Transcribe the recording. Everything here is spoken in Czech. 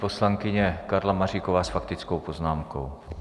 Poslankyně Karla Maříková s faktickou poznámkou.